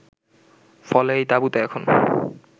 ফলে এই তাবুতে এখন